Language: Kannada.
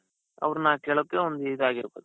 ಅವರನ್ನ ಕೇಳೋಕೆ ಒಂದ್ ಇದಾಗಿರ್ತದೆ .